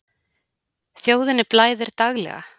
Þjóðinni blæðir daglega.